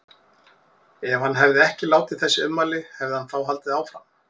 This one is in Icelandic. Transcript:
Ef hann hefði ekki látið þessi ummæli, hefði hann þá haldið áfram?